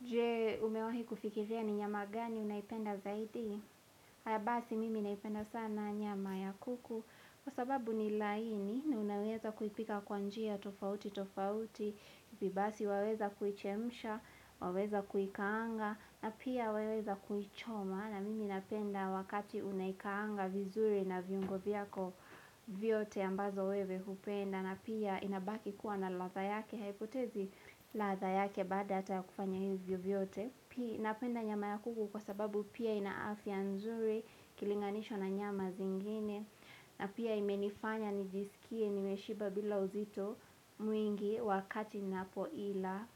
Jee umewahi kufikiria ni nyama gani unaipenda zaidi? Haya basi mimi naipenda sana nyama ya kuku kwa sababu ni laini na unaweza kuipika kwa njia tofauti tofauti hivi basi waweza kuichemsha, waweza kuikaanga na pia waweza kuichoma. Na mimi napenda wakati unaikaanga vizuri na viungo viyako vyote ambazo wewe hupenda na pia inabaki kuwa na ladha yake haipotezi ladha yake baada hata ya kufanya hivyo vyote Pia napenda nyama ya kuku kwa sababu pia ina afya nzuri ikilinganishwa na nyama zingine na pia imenifanya nijisikie nimeshiba bila uzito mwingi wakati napoila